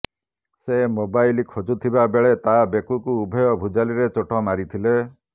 ସେ ମୋବାଇଲ୍ ଖୋଜୁଥିବା ବେଳେ ତା ବେକକୁ ଉଭୟ ଭୁଜାଲିରେ ଚୋଟ ମାରିଥିଲେ